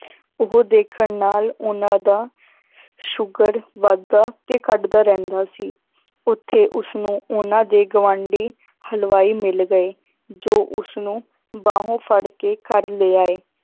ਉਹ ਦੇਖਣ ਨਾਲ ਉਹਨਾਂ ਦਾ ਸ਼ੂਗਰ ਵੱਧਦਾ ਤੇ ਘੱਟਦਾ ਰਹਿੰਦਾ ਸੀ, ਉੱਥੇ ਉਸਨੂੰ ਉਹਨਾਂ ਦੇ ਗਵਾਂਢੀ ਹਲਵਾਈ ਮਿਲ ਗਏ, ਜੋ ਉਸਨੂੰ ਬਾਹੋਂ ਫੜਕੇ ਘਰ ਲਿਆਏ